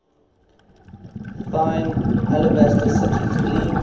thine alabaster cities gleam